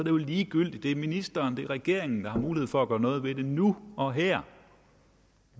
jo ligegyldigt det er ministeren det er regeringen der har mulighed for at gøre noget ved nu og her